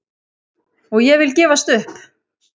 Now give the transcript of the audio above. Og ég vil gefst upp!